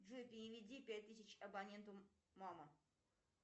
джой переведи пять тысяч абоненту мама